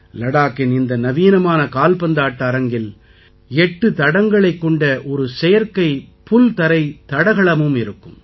லடாக்கின் இந்த நவீனமான கால்பந்தாட்ட அரங்கத்தில் 8 தடன்களைக் கொண்ட ஒரு செயற்கைப் புல்தரைத் தடகளமும் இருக்கும்